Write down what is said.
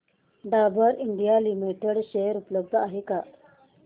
Dabur India limited share उपलब्ध आहेत का